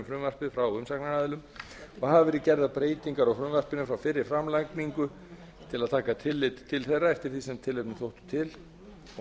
frumvarpið frá umsagnaraðilum og hafa verið gerðar breytingar á frumvarpinu frá fyrri framlagningu til að taka tillit til þeirra eftir því sem tilefni þótti til og